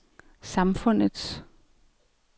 samfundets